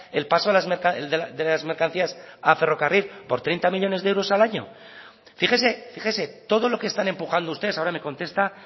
el paso de las mercancías a ferrocarril por treinta millónes de euros al año fíjese fíjese todo lo que están empujando ustedes ahora me contesta